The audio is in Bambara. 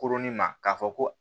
Koronin ma k'a fɔ ko